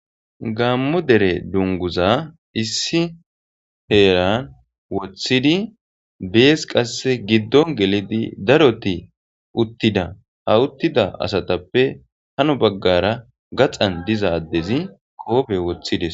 gaamo dere dunguza issi heeran woththidi bees qasse giddon gelidi daroti uttida ha uttida asatappe hano baggara gaxan diza addezi koobe woththides